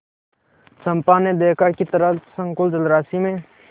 चंपा ने देखा कि तरल संकुल जलराशि में